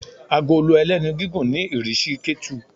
agolo ẹlẹ́nu gigún ní irisí ketú